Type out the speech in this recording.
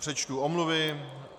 Přečtu omluvy.